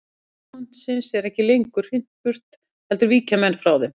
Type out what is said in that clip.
Spámannsins er ekki lengur hrint burt heldur víkja menn fyrir þeim.